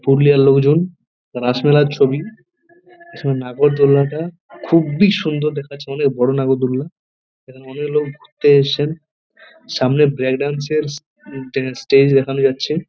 পুরুলিয়ার লোকজন রাসমেলার ছবি নাগরদোলনা টা খুব্বই সুন্দর দেখা যাচ্ছে অনেক বড়ো নাগরদোলনা এখানে অনেক লোক ঘুরতে এসেছে সামনে ব্র্যাক ডান্স -এর স্টেজ দেখা যাচ্ছে